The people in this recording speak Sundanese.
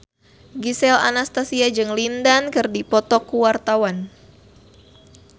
Gisel Anastasia jeung Lin Dan keur dipoto ku wartawan